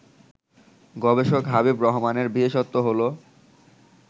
গবেষক হাবিব রহমানের বিশেষত্ব হলো